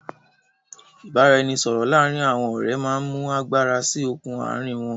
ìbáraẹnisọọ̀rọ̀ láàrín àwọn ọ̀rẹ́ máa ń mú agbára síí okùn àárín wọn.